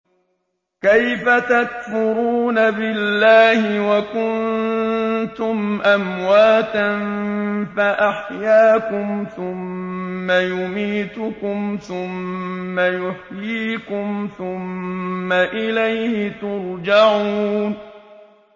كَيْفَ تَكْفُرُونَ بِاللَّهِ وَكُنتُمْ أَمْوَاتًا فَأَحْيَاكُمْ ۖ ثُمَّ يُمِيتُكُمْ ثُمَّ يُحْيِيكُمْ ثُمَّ إِلَيْهِ تُرْجَعُونَ